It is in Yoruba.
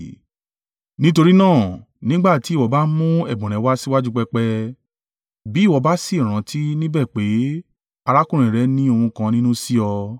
“Nítorí náà, nígbà tí ìwọ bá ń mú ẹ̀bùn rẹ wá síwájú pẹpẹ, bí ìwọ bá sì rántí níbẹ̀ pé arákùnrin rẹ̀ ni ohùn kan nínú sí ọ.